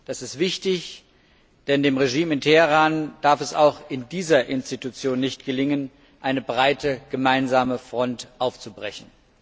Das ist wichtig, denn dem Regime in Teheran darf es auch in diesem Organ nicht gelingen, eine breite gemeinsame Front aufzubrechen.